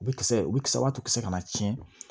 U bɛ kisɛ u bɛ kisɛ wa kisɛ kana tiɲɛ